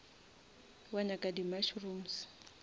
wa nyaka di mushrooms